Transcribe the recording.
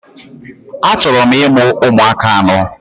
Achọrọ m imụ ụmụaka anọ